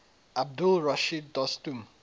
abdul rashid dostum